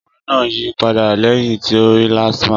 Ọkùnrin náà yí padà lẹ́yìn tí ó rí LASTMA.